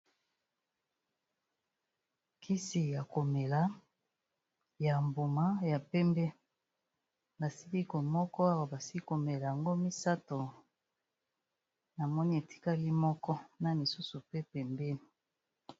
Kisi ya komela ya mbuma ya pembe, basili ko moko awa basili komela yango misato namoni etikali moko, na misusu pe pembeni.